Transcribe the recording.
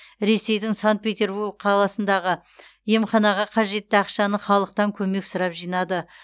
ресейдің санкт петербург қаласындағы емханаға қажетті ақшаны халықтан көмек сұрап жинады